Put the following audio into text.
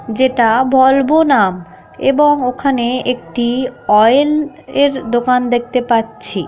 যেটা ভলভো নাম. এবং ওখানে একটি ওয়েল এর দোকান দেখতে পাচ্ছি --